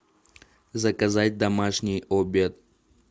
заказать домашний обед